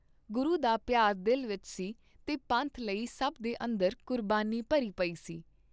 ਗੁਰੂ ਦਾ ਪਿਆਰ ਦਿਲ ਵਿਚ ਸੀ ਤੇ ਪੰਥ ਲਈ ਸਭ ਦੇ ਅੰਦਰ ਕੁਰਬਾਨੀ ਭਰੀ ਪਈ ਸੀ।